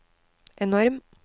enorm